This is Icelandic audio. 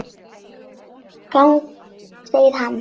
Segir hann.